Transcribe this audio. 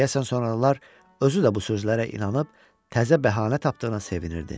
Deyəsən sonralar özü də bu sözlərə inanıb təzə bəhanə tapdığına sevinirdi.